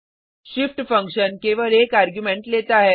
shift function केवल एक argument लेता है